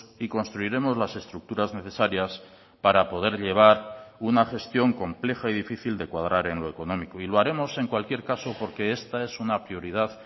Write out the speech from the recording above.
y construiremos las estructuras necesarias para poder llevar una gestión compleja y difícil de cuadrar en lo económico y lo haremos en cualquier caso porque esta es una prioridad